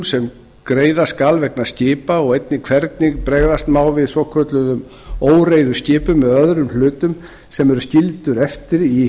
sem greiða skal vegna skipa og einnig hvernig bregðast má við svokölluðum óreiðuskipum eða öðrum hlutum sem eru skildir eftir í